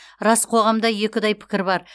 рас қоғамда екіұдай пікір бар